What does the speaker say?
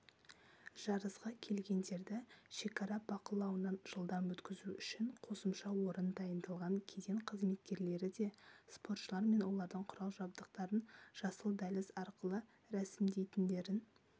жарысқа келгендерді шекара бақылауынан жылдам өткізу үшін қосымша орын дайындалған кеден қызметкерлері де спортшылар мен олардың құрал-жабдықтарын жасыл дәліз арқылы рәсімдейтіндерін